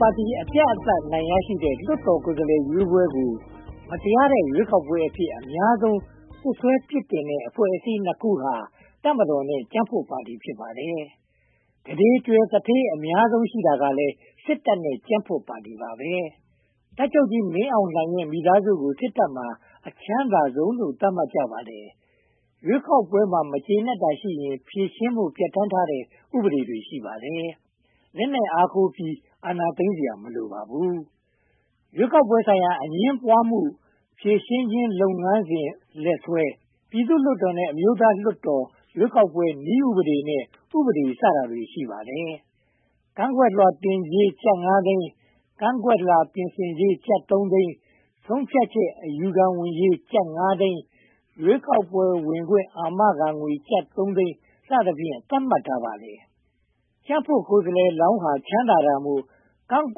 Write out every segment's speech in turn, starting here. ပါတီ အပြတ်အသတ် အနိုင်ရရှိတဲ့ လွှတ်တော်ကိုယ်စားလှယ်ရွေးပွဲကို မတရားတဲ့ ရွေးကောက်ပွဲအဖြစ် အများဆုံး စွပ်စွဲပြစ်တင်တဲ့ အဖွဲ့အစည်းနှစ်ခုဟာ တပ်မတော်နဲ့ ကြံ့ဖွံ့ပါတီ ဖြစ်ပါတယ်။ ကုဋေကြွယ်သူဋ္ဌေး အများဆုံးရှိတာဟာလည်း စစ်တပ်နဲ့ ကြံ့ဖွံ့ပါတီ ဖြစ်ပါတယ်။ တပ်ချုပ်ကြီး မင်းအောင်လှိုင်ရဲ့ မိသားစုကို စစ်တပ်မှာ အချမ်းသာဆုံးလို့ သတ်မှတ်ကြပါတယ်။ ရွေးကောက်ပွဲမှာ မကျေနပ်တာရှိရင် ဖြေရှင်းဖို့ ပြဌာန်းထားတဲ့ ဥပဒေတွေ ရှိပါတယ်။ လက်နက်အားကိုးပြီး အာဏာသိမ်းစရာ မလိုပါဘူး။ ရွေးကောက်ပွဲဆိုင်ရာ အငြင်းပွားမှုများ ဖြေရှင်းခြင်း လုပ်ငန်းစဉ်လက်စွဲ၊ ပြည်သူ့လွှတ်တော်နဲ့ အမျိုးသားလွှတ်တော် ရွေးကောက်ပွဲနည်းဥပဒေနဲ့ ဥပဒေ စတာတွေ ရှိပါတယ်။ ကန့်ကွက်လွှာတင်ကြေး ကျပ်ငါးသိန်း၊ ကန့်ကွက်လွှာ ပြင်ဆင်ကြေး ကျပ်သုံးသိန်း၊ ဆုံးဖြတ်ချက် အယူခံဝင်ကြေး ကျပ်ငါးသိန်း၊ ရွေးကောက်ပွဲဝင်ခွင့် အာမခံငွေ ကျပ်သုံးသိန်း စသဖြင့် သတ်မှတ်ထားပါတယ်။ ကြံ့ဖွံ့ကိုယ်စားလှယ်လောင်းဟာ ချမ်းသာကြတာမို့ ကန့်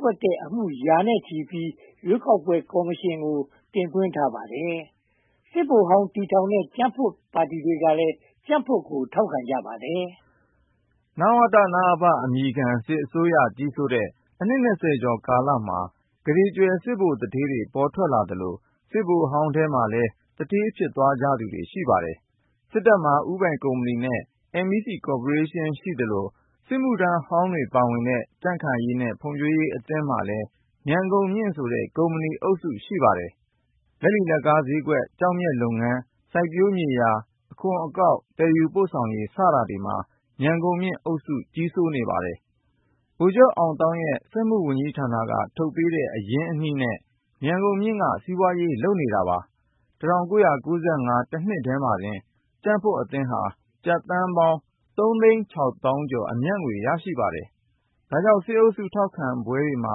ကွက်တဲ့အမှုတွေ ရာချီပြီး ရွေးကောက်ပွဲကော်မရှင်ကို တင်သွင်းထားပါတယ်။ စစ်ဗိုလ်ဟောင်း တည်ထောင်တဲ့ ပါတီတွေကလည်း ကြံ့ဖွံ့ကို ထောက်ခံကြပါတယ်။ နဝတ/နအဖ အမည်ခံ စစ်အစိုးရကြီးစိုးတဲ့ အနှစ် (၂၀) ကျော်ကာလမှာ ကုဋေကြွယ်စစ်ဗိုလ်သူဋ္ဌေးတွေ ထွက်လာသလို စစ်ဗိုလ်ဟောင်းထဲမှာလည်း သူဋ္ဌေးဖြစ်သွားသူတွေ ရှိပါတယ်။ စစ်တပ်မှာ ဦးပိုင်ကုမ္ပဏီနဲ့ MEC ကော်ပိုရေးရှင်း ရှိသလို စစ်မှုထမ်းဟောင်းတွေ ပါဝင်တဲ့ ကြံ့ခိုင်ရေးနဲ့ ဖွံ့ဖြိုးရေးအသင်းမှာလည်း ‘မြန်ဂုဏ်မြင့်’ ဆိုတဲ့ ကုမ္ပဏီအုပ်စု ရှိပါတယ်။ လက်လီလက်ကားဈေးကွက်၊ ကျောက်မျက်လုပ်ငန်း၊ စိုက်ပျိုးမြေယာ၊ အခွန်အကောက်၊ သယ်ယူပို့ဆောင်ရေး စတာတွေမှာ ‘မြန်ဂုဏ်မြင့်’ အုပ်စု ကြီးစိုးပါတယ်။ ဗိုလ်ချုပ်အောင်သောင်းရဲ့ စက်မှုဝန်ကြီးဌာနက ထုတ်ပေးတဲ့ အရင်းအနှီးနဲ့ ‘မြန်ဂုဏ်မြင့်’ က စီးပွားရေး လုပ်တာပါ။ ၁၉၉၅ တနှစ်တည်းမှာတင် ကြံ့ဖွံ့အသင်းဟာ ကျပ်သန်းပေါင်း (၃၆၂, ၀၀၀) အမြတ်ငွေ ရရှိပါတယ်။ ဒါကြောင့် စစ်အုပ်စု ထောက်ခံပွဲမှာ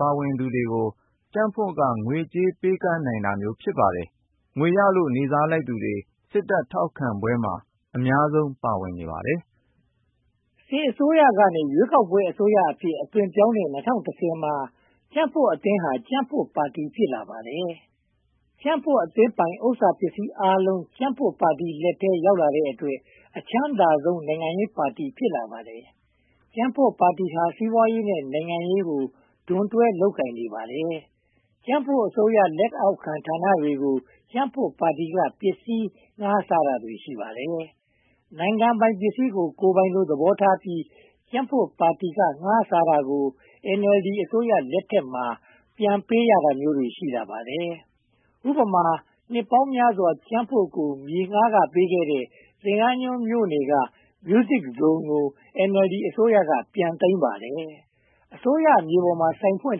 ပါဝင်သူတွေကို ကြံ့ဖွံ့က ငွေကြေးပေးကမ်းနိုင်တာ ဖြစ်ပါတယ်။ ငွေရလို့ နေ့စားလိုက်သူတွေ စစ်တပ်ထောက်ခံပွဲမှာ အများဆုံးပါဝင်ပါတယ်။ စစ်အစိုးရကနေ ရွေးကောက်ပွဲ အစိုးရအဖြစ် အသွင်းပြောင်းတဲ့ ၂၀၁၀ မှာ ကြံ့ဖွံ့အသင်းဟာ ကြံ့ဖွံ့ပါတီ ဖြစ်လာတာပါ။ ကြံ့ဖွံ့အသင်းပိုင် ဥစ္စာပစ္စည်းအားလုံး ကြံ့ဖွံ့ပါတီလက်ထဲ ရောက်လာတဲ့အတွက် အချမ်းသာဆုံး နိုင်ငံရေးပါတီ ဖြစ်လာပါတယ်။ ကြံ့ဖွံ့ပါတီဟာ စီးပွားရေးနဲ့ နိုင်ငံရေးကို ဒွန်တွဲလုပ်ကိုင်နေပါတယ်။ ကြံ့ဖွံ့အစိုးရ လက်အောက်ခံဌာနတွေကို ကြံ့ဖွံ့ပါတီက ပစ္စည်းငှားစားတာတွေ ရှိပါတယ်။ နိုင်ငံပိုင်ပစ္စည်းကို ကိုယ်ပိုင်လို သဘောထားပြီး ကြံ့ဖွံ့ပါတီက ငှားစားတာတွေကို NLD အစိုးရလက်ထက်မှာ ပြန်ပေးရတာမျိုး ရှိလာပါတယ်။ ဥပမာ နှစ်ပေါင်းများစွာ ကြံ့ဖွံ့ကို မြေငှားခ ပေးခဲ့တဲ့ သင်္ဃန်းကျွန်းမြို့နယ်က Music Zone ကို NLD အစိုးရက ပြန်သိမ်းပါတယ်။ အစိုးရမြေပေါ်မှာ ဆိုင်ဖွင့်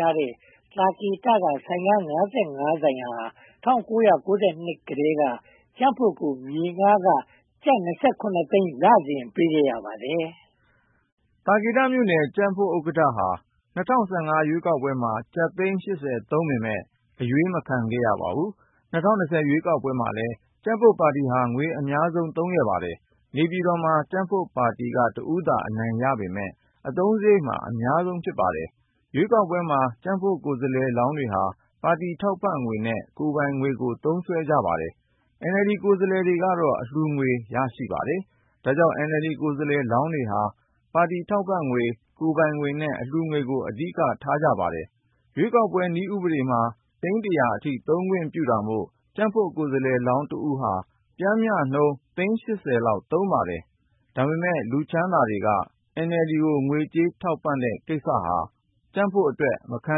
တဲ့ သာကေတက ဈေးဆိုင် (၅၅) ဆိုင်ဟာ ၁၉၉၂ ကတည်းက ကြံ့ဖွံ့ကို မြေငှားခ ကျပ် (၂၇) သိန်း လစဉ်ပေးခဲ့ရပါတယ်။ သာကေတမြို့နယ် ကြံ့ဖွံ့ဥက္ကဋ္ဌဟာ ၂၀၁၅ ရွေးကောက်ပွဲမှာ ကျပ်သိန်း (၈၀) သုံးပေမယ့် အရွေးမခံရပါဘူး။ ၂၀၂၀ ရွေးကောက်ပွဲမှာလည်း ကြံ့ဖွံ့ပါတီဟာ ငွေအများဆုံးသုံးပါတယ်။ နေပြည်တော်မှာ ကြံ့ဖွံ့ပါတီက တဦးသာ အနိုင်ရပေမယ့် အသုံးစရိတ်မှာ အများဆုံးပါ။ ရွေးကောက်ပွဲမှာ ကြံ့ဖွံ့ကိုယ်စားလှယ်လောင်းတွေဟာ ပါတီထောက်ပံ့ငွေနဲ့ ကိုယ်ပိုင်ငွေကို သုံးစွဲပါတယ်။ NLD ကိုယ်စားလှယ်ကတော့ အလှုငွေ ရရှိပါတယ်။ ဒါကြောင့် NLD ကိုယ်စားလှယ်လောင်းတွေဟာ ပါတီထောက်ပံ့ငွေ၊ ကိုယ်ပိုင်ငွေနဲ့ အလှုငွေကို အဓိက သုံးစွဲကြပါတယ်။ ရွေးကောက်ပွဲ နည်းဥပဒေမှာ သိန်းတရာအထိ သုံးခွင့်ပြုတာမို့ ကြံ့ဖွံ့ကိုယ်စားလှယ်လောင်းတဦးဟာ ပျမ်းမျှနှုန်းသိန်း (၈၀) လောက် သုံးပါတယ်။ ဒါပေမဲ့ လူချမ်းသာတွေက NLD ကို ငွေကြေးထောက်ပံ့တဲ့ကိစ္စဟာ ကြံ့ဖွံ့အတွက် မခံ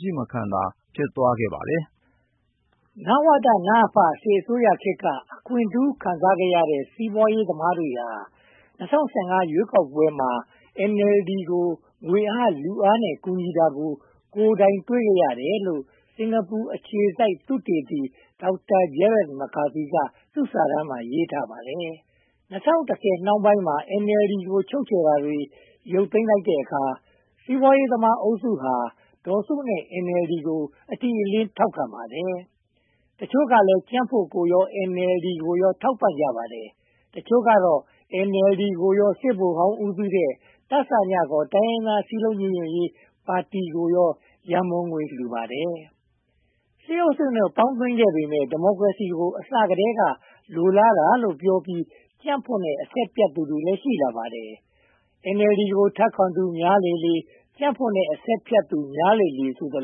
ချိမခံသာ ဖြစ်သွားနိုင်ပါတယ်။ နဝတ၊ နအဖ စစ်အစိုးရခေတ်က အခွင့်ထူးခံစားခဲ့တဲ့ စီးပွားရေးသမားတွေဟာ ၂၀၁၅ ရွေးကောက်ပွဲမှာ NLD ကို ငွေအားလူအားနဲ့ ကူညီတာကို ကိုယ်တိုင်တွေ့ခဲ့ရတယ်လို့ စင်္ကာပူအခြေစိုက် သုတေသီ Dr. Gerard McCarthy က သူ့စာတမ်းမှာ ရေးထားပါတယ်။ ၂၀၁၀ နှောင်းပိုင်းမှာ NLD ကို ချုပ်ချယ်တာတွေ ရုတ်သိမ်းလိုက်တဲ့အခါ စီးပွားရေးသမားအုပ်စုဟာ ဒေါ်စုနဲ့ NLD ကို အတိအလင်း ထောက်ခံပါတယ်။ တချို့ကလည်း ကြံ့ဖွံ့ကိုရော NLD ကိုရော ထောက်ပံ့ကြတယ်။ အချို့ကတော့ NLD ကိုရော စစ်ဗိုလ်ဟောင်း ဦးဆောင်တဲ့ တစည (ခေါ်) တိုင်းရင်းသား စည်းလုံးညီညွှတ်ရေးပါတီကိုရော ရန်ပုံငွေ လှူပါတယ်။ စစ်အုပ်စုနဲ့ ပေါင်းသင်းခဲ့ပေမယ့် ဒီမိုကရေစီကို အစကတည်းက လိုလားတာလို့ပြောပြီး ကြံ့ဖွံ့နဲ့ အဆက်ဖြတ်သူတွေလည်း ရှိလာပါတယ်။ NLD ကို ထောက်ခံသူတွေ များလာလေလေ၊ ကြံ့ဖွံ့နဲ့ အဆက်ဖြတ်သူတွေ များလာလေလေ ဆိုသ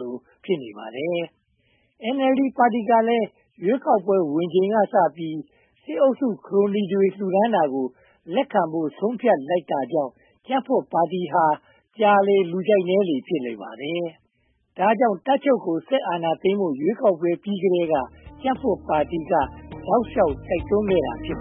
လို ဖြစ်နေပါတယ်။ NLD ပါတီကလည်း ရွေးကောက်ပွဲဝင်ချိန်ကစပြီး စစ်အုပ်စု ခရိုနီတွေ လှူဒါန်းတာကို လက်ခံဖို့ ဆုံးဖြတ်လိုက်တာကြောင့် ကြံ့ဖွံ့ပါတီဟာ ကြာလေလေ လူကြိုက်နည်းလေလေ ဖြစ်လာပါတယ်။ ဒါကြောင့် တပ်ချုပ်ကို စစ်အာဏာသိမ်းဖို့ ရွေးကောက်ပွဲပြီးကတည်းက တောက်လျှောက်တိုက်တွန်းခဲ့တာ ဖြစ်ပ